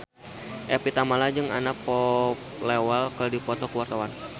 Evie Tamala jeung Anna Popplewell keur dipoto ku wartawan